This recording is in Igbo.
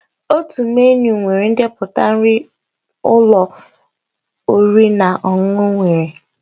Otu menịu nwere ndepụta nri ụlọ oriri na ọṅụṅụ nwere